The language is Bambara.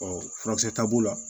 Ɔ furakisɛ ta b'o la